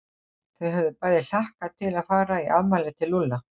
Þau höfðu bæði hlakkað til að fara í afmælið til Lúlla.